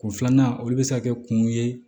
Kun filanan olu bɛ se ka kɛ kun ye